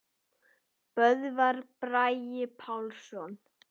Böðvar Bragi Pálsson